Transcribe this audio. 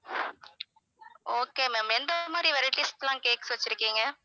okay ma'am எந்த மாதிரி varieties க்குலாம் cakes வச்சிருக்கீங்க?